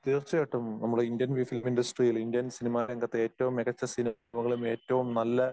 തീർച്ചയായിട്ടും. നമ്മടെ Indian film ഇൻഡസ്ട്രിയിൽ ഇന്ത്യൻ സിനിമ രംഗത്തെ ഏറ്റവും മികച്ച സിനിമകളും ഏറ്റവും നല്ല